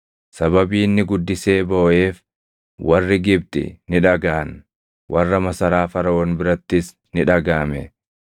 Sababii inni guddisee booʼeef warri Gibxi ni dhagaʼan; warra masaraa Faraʼoon birattis ni dhagaʼame.